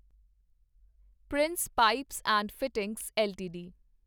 Prince pipes and fittings LTD